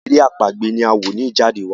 èrè àpagbè ni a wọ ní Ijade wá